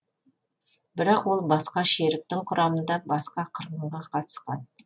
бірақ ол басқа шеріктің құрамында басқа қырғынға қатысқан